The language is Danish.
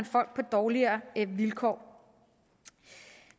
folk på dårligere vilkår